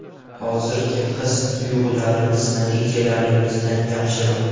Hozirgi his-tuyg‘ularimiz, natijalarimizdan yaxshiroq.